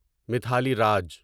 Mithali Raj